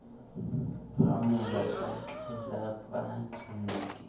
phamola ka tlelapa ke ne